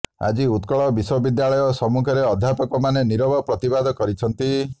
ଆଜି ଉତ୍କଳ ବିଶ୍ୱବିଦ୍ୟାଳୟ ସମ୍ମୁଖରେ ଅଧ୍ୟାପକମାନେ ନିରବ ପ୍ରତିବାଦ କରିଛନ୍ତି